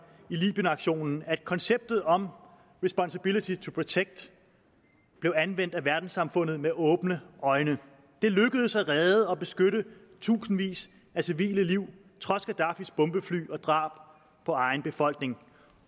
i libyenaktionen at konceptet om responsibility to protect blev anvendt af verdenssamfundet med åbne øjne det lykkedes at redde og beskytte tusindvis af civile liv trods gaddafis bombefly og drab på egen befolkning